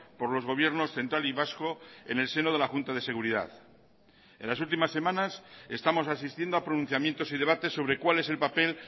por los gobiernos central y vasco en el seno de la junta de seguridad en las últimas semanas estamos asistiendo a pronunciamientos y debates sobre cuál es el papel